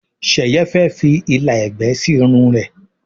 Sheye fè fí ìlà ègbé sí Irun rẹ.